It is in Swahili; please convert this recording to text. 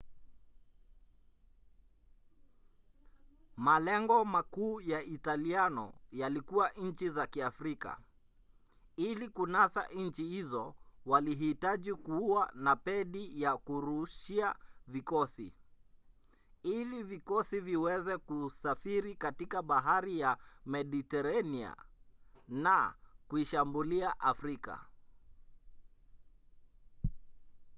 malengo makuu ya italiano yalikuwa nchi za kiafrika. ili kunasa nchi hizo walihitaji kuwa na pedi ya kurushia vikosi ili vikosi viweze kusafiri katika bahari ya mediteranea na kuishambulia afrika